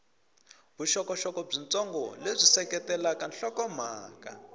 vuxokoxoko byitsongo lebyi seketelaka nhlokomhaka